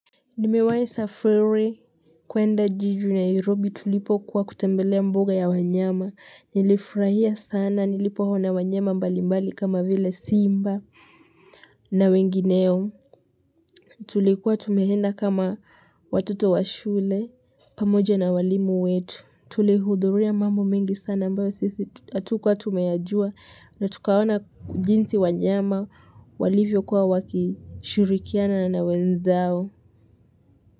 Nimewai safari kuenda jiji la Nairobi tulipokuwa kutembelea mboga ya wanyama. Nilifurahia sana nilipoona wanyama mbali mbali kama vile simba. Na wengineo. Tulikuwa tumeenda kama watoto wa shule pamoja na walimu wetu. Tulihudhuria mambo mengi sana ambayo sisi atukuwa tumeyajua. Na tukaona jinsi wanyama walivyokuwa wakishirikiana na wenzao.